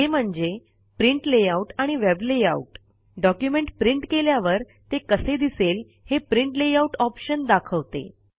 ते म्हणजे print layout आणि वेब लेआउट डॉक्युमेंट प्रिंट केल्यावर ते कसे दिसेल हे प्रिंट लेआउट ऑप्शन दाखवते